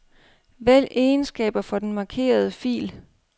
Vælg egenskaber for den markerede fil.